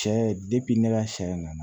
Sɛ ne ka sɛ nana